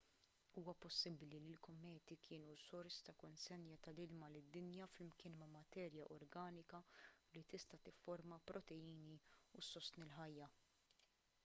huwa possibbli li l-kometi kienu sors ta' konsenja tal-ilma lid-dinja flimkien ma' materja organika li tista' tifforma proteini u ssostni l-ħajja